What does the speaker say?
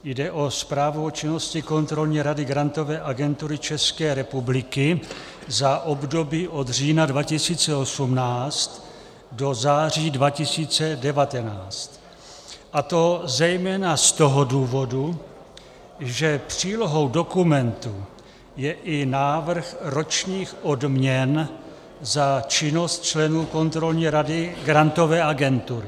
Jde o zprávu o činnosti Kontrolní rady Grantové agentury České republiky za období od října 2018 do září 2019, a to zejména z toho důvodu, že přílohou dokumentu je i návrh ročních odměn za činnost členů Kontrolní rady Grantové agentury.